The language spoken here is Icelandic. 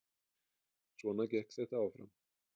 Svona gekk þetta áfram